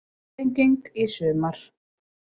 Fyrsta sprenging í sumar